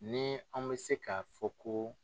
Ni anw bɛ se ka fɔ ko.